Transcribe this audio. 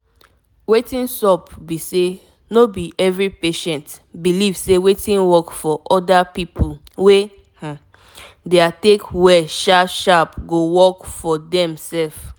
wetin sup be say no be every patient believe say wetin work for other pipo wey um their take well sharp sharp go work for dem sef